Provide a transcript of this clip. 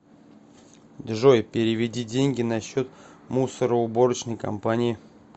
джой переведи деньги на счет мусороуборочной компании